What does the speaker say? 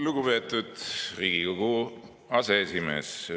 Lugupeetud Riigikogu aseesimees!